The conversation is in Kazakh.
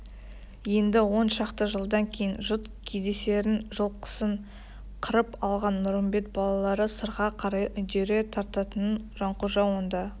енді он шақты жылдан кейін жұт кездесерін жылқысын қырып алған нұрымбет балалары сырға қарай үдере тартатынын жанқожа онда